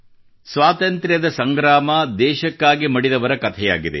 ಸ್ವಾತಂತ್ರ್ಯದ ಸಂಗ್ರಾಮ ದೇಶಕ್ಕಾಗಿ ಮಡಿದವರ ಕಥೆಯಾಗಿದೆ